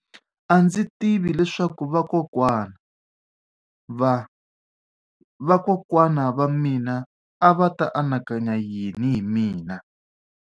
A ndzi tivi leswaku vakokwana-va-vakokwana va mina a va ta anakanya yini hi mina.